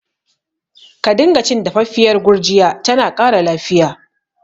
Ka dinga cin dafaffiyar gurjiya, tana ƙara lafiya